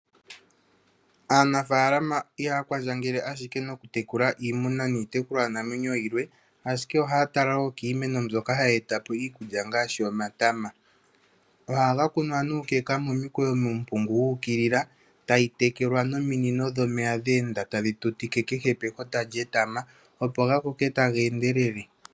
Aanafaalama ihaakwandjangele ashike nokutekula iimuna niitekulwa namwenyo yilwe. Ashike ohaatala woo kiimeno mbyoka hayeetapo iikulya ngaashi omatama. Ohaga kunwa nuukeka momikweyo muumpungu wuukilila tayitekelwa nominino dhomeya dheenda tadhitutike kehe pekota lyetama, opo gakoke tageendelele.